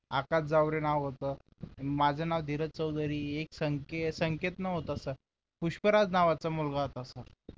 आकाश जावरे नाव होत माझं नाव धीरज चौधरी एक संके संकेत नव्हता सर पुष्कराज नावाचा मुलगा होता सर